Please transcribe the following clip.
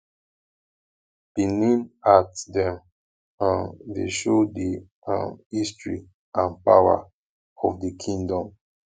benin art dem um dey show di um history and power of di kingdom